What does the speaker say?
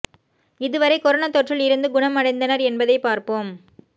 இதுவரை கொரானா தொற்றில் இருந்து குணம் அடைந்தனர் என்பதை பார்ப்போம்